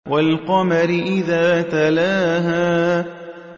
وَالْقَمَرِ إِذَا تَلَاهَا